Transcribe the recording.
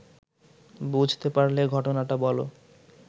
বুঝতে পারলে ঘটনাটা বল